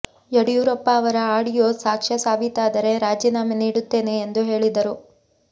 ಯಡಿಯೂರಪ್ಪ ಅವರ ಆಡಿಯೋ ಸಾಕ್ಷ್ಯ ಸಾಬೀತಾದರೆ ರಾಜೀನಾಮೆ ನೀಡುತ್ತೇನೆ ಎಂದು ಹೇಳಿದ್ದರು